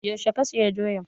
Yaushe za saya doyan?